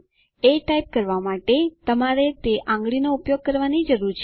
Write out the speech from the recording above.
એ type કરવા માટે તમારે તે આંગળીનો ઉપયોગ કરવાની જરૂર છે